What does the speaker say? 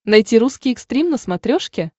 найти русский экстрим на смотрешке